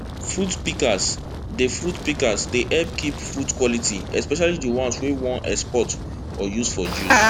fruit pikas dey fruit pikas dey hep kip fruit quality especially di ones wey we wan export or use for juice